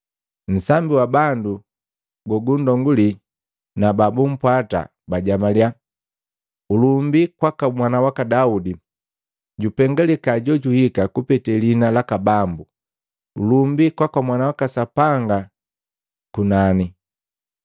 Nsambi wa bandu gogunndonguli na babupwata bajamalia, “Ulumbi kwaka mwana waka Daudi! Jupengalika jojuhika kupete lihina laka Bambu! Ulumbi kwaka Sapanga kunani!”